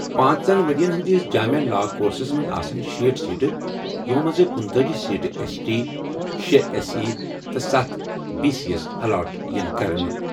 پانٛژن ؤرۍ یَن ہِنٛدِس جامع لا کورسَس منٛز آسن شیٹھ سیٹہٕ، یِمَو منٛز کنتآجی سیٹہٕ ایس ٹی، شے ایس سی تہٕ ستھ بی سی یَس الاٹ یِن کرنہٕ۔